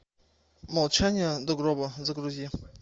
молчание до гроба загрузи